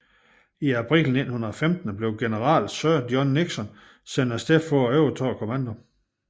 I april 1915 blev general Sir John Nixon sendt afsted for at overtage kommandoen